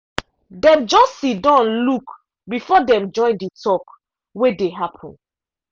dem just siddon look before dem join the talk wey dey happen.